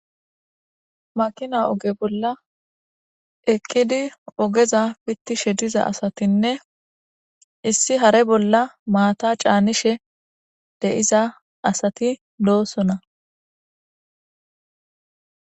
Makina oge bolla ekkidi ogeza pittishe diza asatinne issi hare bolla maata caanishe deiza asati loosona.